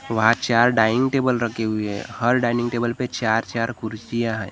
वह चार dining table रखी हुई हैं हर डाइनिंग टेबल पे चार चार कुर्सियां हैं।